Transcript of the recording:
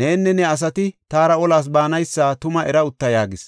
“Nenne ne asati taara olas baanaysa tuma era utta” yaagis.